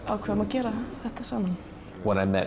ákváðum að gera þetta saman mér